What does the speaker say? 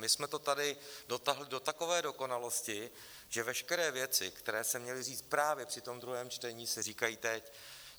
My jsme to tady dotáhli do takové dokonalosti, že veškeré věci, které se měly říct právě při tom druhém čtení, se říkají teď.